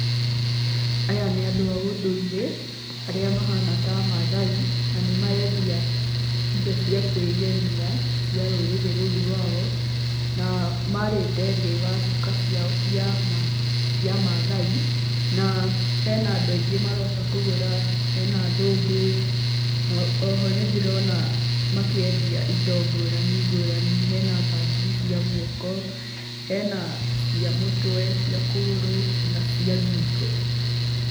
Aya nĩ andũ a ũndũire, arĩa mahana ta maathai, na nĩmarendia indo cia kwĩgemia, cia rũrĩrĩ rũu rwao, na maarĩte thĩĩ wa cũka ciao cia maathai, na hena andũ aingĩ maroka kũgũra, hena athũngũ, oho nĩndĩrona makĩendia indo ngũrani ngũrani hena mbangiri cia guoko, hena cia mũtwe, cia kũgũrũ ona cia ngingo.